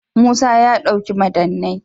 Musa ya dauki madannai.+